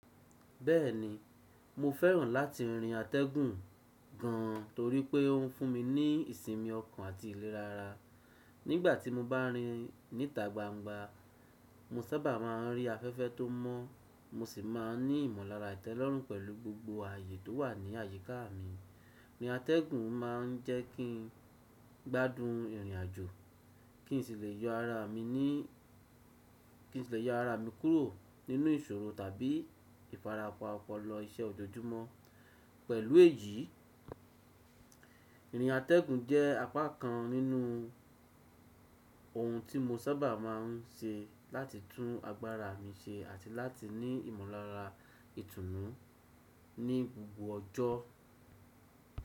Bẹ́ẹ̀ni, mo fẹ́ràn láti rin atẹ́gùn gan torí pé ó ń fún mi ní ìsinmi ọkàn àti ìlera ara. Nígbà tí mo bá rin níta gbangba, mo sábà máa ń rí afẹ́fẹ́ tó mọ́, mo sì máa ń ní ìmọ̀lára ìtẹ́lọ́rùn pẹ̀lú gbogbo ààyè tó wà ní àyíká mi. Irín atẹ́gùn máa ń jẹ́ kí n gbádùn ìrìnàjò, kí n sì lè yọ ara mi kúrò nínú ìṣòro tàbí ìfarapa ọpọlọ iṣẹ́ ojoojúmọ́. Pẹ̀lú èyí, ìrìn atẹ́gùn jẹ́ apá kan nínú ohun tí mo sábà máa ń ṣe láti tún agbára mi ṣe àti láti ní ìmọ̀lára ìtùnú ní gbogbo ọjọ́.